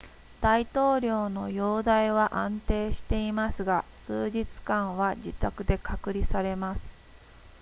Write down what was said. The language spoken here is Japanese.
大統領の容態は安定していますが数日間は自宅で隔離されます